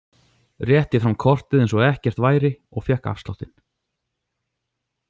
Rétti fram kortið eins og ekkert væri og fékk afsláttinn.